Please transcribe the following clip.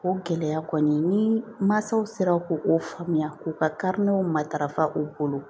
O gɛlɛya kɔni ni mansaw sera k'o faamuya k'u kariw matarafa u bolo